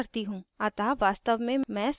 अतः वास्तव में मैं surat जाना चाहती हूँ